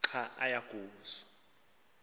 xa aya kuso